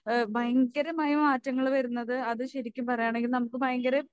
ഏഹ് ഭയങ്കരമായി മാറ്റങ്ങൾ വരുന്നത് അത് ശരിക്കും പറയുകയാണെങ്കിൽ നമുക്ക് ഭയങ്ക